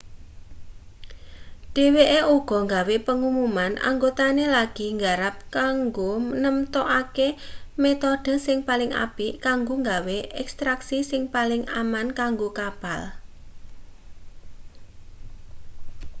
dheweke uga gawe pengumuman anggotane lagi nggarap kanggo nemtokake metode sing paling apik kanggo gawe ekstraksi sing paling aman kanggo kapal